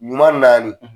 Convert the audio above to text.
Ɲuman naani